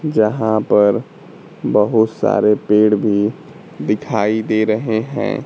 जहां पर बहुत सारे पेड़ भी दिखाई दे रहे हैं।